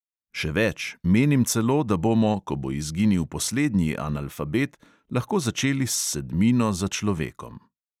Še več, menim celo, da bomo, ko bo izginil poslednji analfabet, lahko začeli s sedmino za človekom.